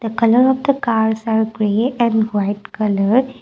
the colour of the cars are create and white colour.